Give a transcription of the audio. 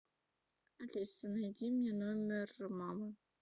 алиса найди мне номер мамы